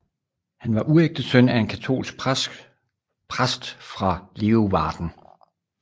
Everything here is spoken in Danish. Han var uægte søn af en katolsk præst fra Leeuwarden